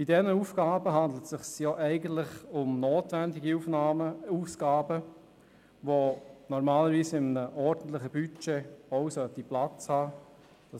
Bei diesen Aufgaben handelt es sich eigentlich um notwendige Ausgaben, die normalerweise auch in einem ordentlichen Budget Platz haben sollten.